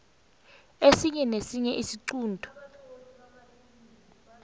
esinye nesinye isiqunto